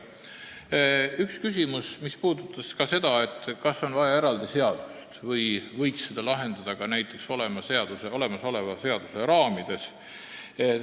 Üks küsimus oli, kas on vaja eraldi seadust või võiks seda probleemi lahendada ka näiteks olemasoleva seaduse raamides.